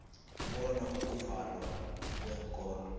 bona ukuvalwa kweenkolo